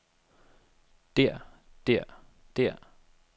der der der